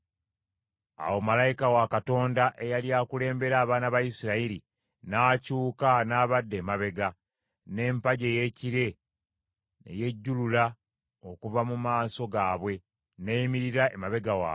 Awo malayika wa Katonda eyali akulembera abaana ba Isirayiri n’akyuka n’abadda emabega; n’empagi ey’ekire ne yejjulula okuva mu maaso gaabwe, n’eyimirira emabega waabwe: